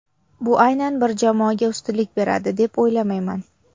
Bu aynan bir jamoaga ustunlik beradi deb o‘ylamayman.